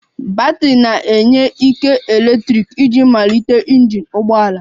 Batrị na-enye ike eletrik iji malite injin ụgbọ ala